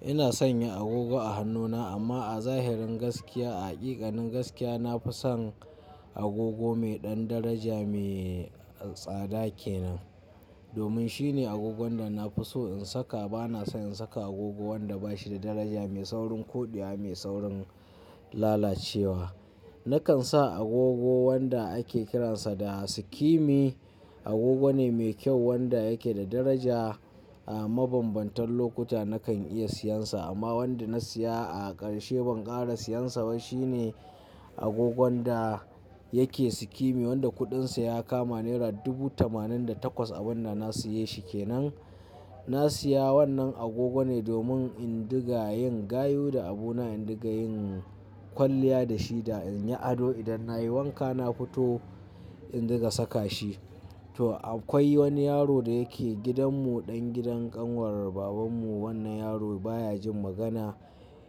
Ina sanya agogo a hannuna, amma a zahirin gaskiya, a haƙiƙanin gaskiya, na fi son agogo mai ɗan daraja, mai tsada kenan. Domin shine agogon da na fi so in saka. Ba na son saka agogo wanda bashi da daraja, mai saurin ƙudewa, mai saurin lalacewa. Nakan sa agogo wanda ake kiransa da skimi. Agogo ne mai kyau wanda yake da daraja. A mabambantan lokuta nakan iya siyan sa amma wanda na siya a ƙarshe ban ƙara siyansa ba. Shi ne agogon da yake skimi wanda kuɗinsa ya kama naira dubu tamanin da takwas. Abin da na siye shi kenan. Na siya wannan agogo ne domin in dinga yin gayu da abuna, in dinga yin kwalliya da shi da in yi ado. Idan nayi wanka na fito in ɗiga saka shi. To akwai wani yaro da yake gidanmu, ɗan gidan ƙanwar babanmu. Wannan yaro baya jin magana.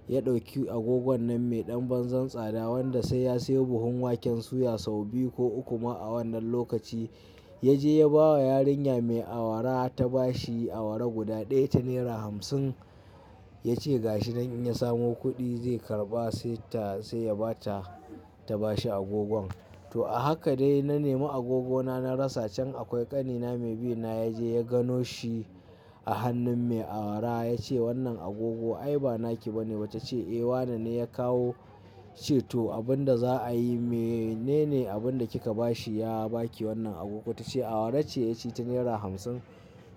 Ya ɗauki agogon nan mai ɗan banza tsada wanda sai ya sayo buhun waken suya sau biyu ko uku ma a wannan lokaci. Ya je ya bawa yarinya mai awara. Ta bashi awara guda ɗaya ta nera hamsin. Ya ce ga shi dan in ya samu kuɗi zai karɓa sai ta, sai ya bata ta bashi agogon. To a haka dai na nemi agogona na rasa can. Akwai ƙanina mai bi na ya je ya gano shi a hannun mai awara. Ya ce wannan agogo ai ba naki bane ba? Ta ce "wane ne ya kawo". Ya ce to abin da za a yi. Mene ne abin da kika ba shi? Ya baki wannan agogo? Ta ce awara ce. Ya ce ta nera hamsin?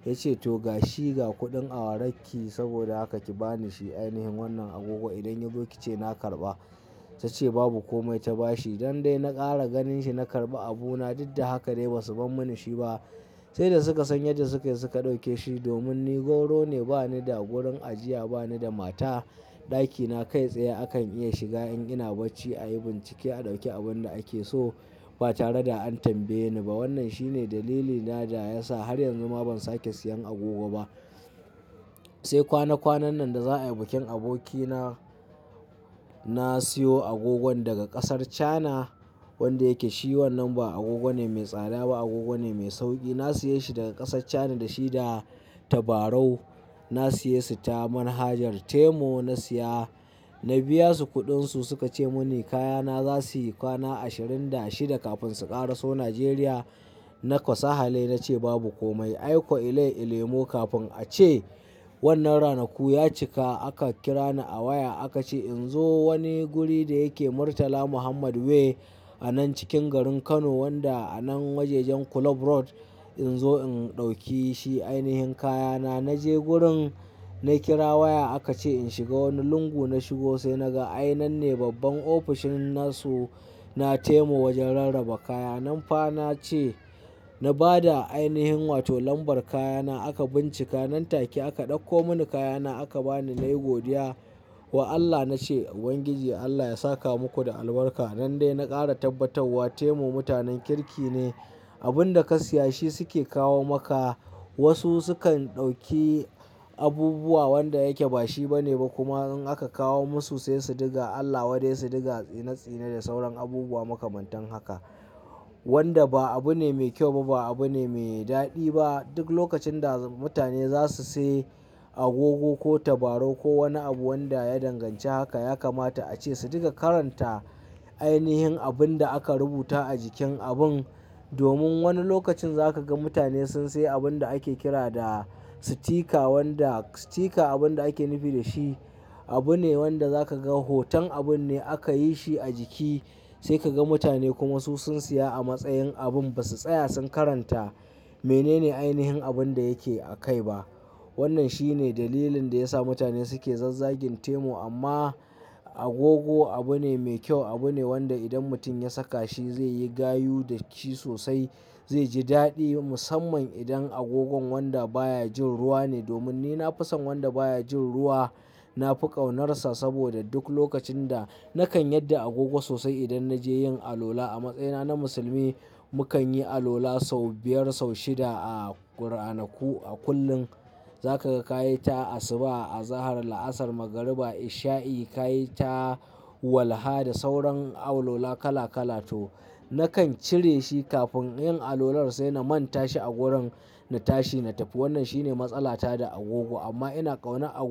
Ya ce to ga shi, ga kuɗin awararki saboda haka ki bani shi ainihin wannan agogo. Idan ya zo ki ce na karɓa. Ta ce babu komai ta bashi. Nan dai na ƙara ganin shi na karɓi abuna. Diddan haka dai basu bar mun shi ba saida suka san yadda sukai suka ɗauke shi. Domin ni gwauro ne, bani da wurin ajiya, bani da mata. Ɗakina kai tsaye akan iya shiga in ina bacci. A yi bincike a ɗauki abun da ake so ba tare da an tambaye ni ba. Wannan shine dalilina da ya sa har yanzu ma ban sake siyan agogo ba. Sai kwana kwanan nan da za'a yi bikin abokina. Na siyo agogon daga ƙasar Cana wanda yake shi wannan ba agogo ne mai tsada ba, agogo ne mai sauƙi. Na siye shi daga ƙasar Cana da shi da tabarau. Na siye su ta manhajar Temu. Na siya, na biya su kuɗinsu. Suka ce mun kayana za suyi kwana ashirin da shida kafin su ƙara so Nijeriya. Na kwa sahale, na ce babu komai. Ai kwa ilai-ilemo kafin a ce wannan ranaku ya cika. Aka kira ni a waya aka ce in zo wani guri da yake Murtala Muhammed Way a nan cikin garin Kano wanda a nan wajajen Club Road in zo in ɗauke shi. Ainihin kayana. Na je gurin na kira waya aka ce in shiga wani lungu. Na shigo sai na ga ai nanne babban ofishin nasu na Temu wajen rarraba kaya. Nan fa na ce, na bada ainihin wato lambar kayana aka bincika. Nan take aka ɗauko mini kayana aka bani. Na yi godiya wa Allah. Na ce ubangiji Allah ya saka muku da albarka. Nan dai na ƙara tabbatawa. Temu mutanen kirki ne. Abin da ka siya shi suke kawo maka. Wasu sukan ɗauki abubuwa wanda yake ba shi bane ba kuma in aka kawo musu sai su diga Allah wadai su dinga tsine-tsine da sauran abubuwa makamantan haka. Wanda ba abu ne mai kyau ba, ba abu ne mai daɗi ba. Duk lokacin da mutane za su sayi agogo ko tabarau ko wani abu wanda ya danganci haka ya kamata a ce su ɗiga karanta ainihin abinda aka rubuta a jikin abin. Domin wani lokacin za ka ga mutane sun sayi abun da ake kira da sitika. Wanda sitika abun da ake nufi da shi abu ne wanda za ka ga hoton abun ne aka yi shi a jiki sai ka ga mutane kuma su sun siya a matsayin abun ba su tsaya sun karanta menene ainihin abun da yake a kai ba. Wannan shine dalilin da ya sa mutane suke zazzagin Temu. Amma agogo abu ne mai kyau. Abu ne wanda idan mutum ya saka shi zai yi gayu da shi sosai, zai ji daɗi. Musamman idan agogon wanda baya jin ruwa ne. Domin ni na fi son wanda baya jin ruwa. Na fi ƙaunarsa saboda duk lokacin da nakan yadda agogo sosai idan na je yin alwala. A matsayina na musulmi mu kan yi alwala sau biyar sau shida a ranaku a kullum. Za ka ga ka yi ta asuba, azahar, la'asar, magariba, isha'i. Ka yi ta walha da sauran awlala kala kala. To nakan cire shi kafin yin alwalar sai na manta shi a gurin na tashi na tafi. Wannan shine matsala ta da agogo. Amma ina ƙaunar agogo.